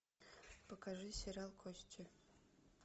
покажи сериал кости